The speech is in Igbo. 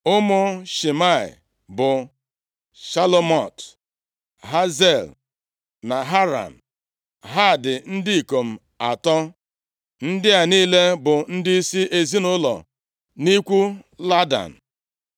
Ụmụ Shimei bụ, Shelomot, Haziel na Haran, ha dị ndị ikom atọ. Ndị a niile bụ ndịisi ezinaụlọ nʼikwu Ladan.